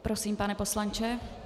Prosím, pane poslanče.